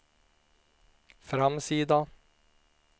framsida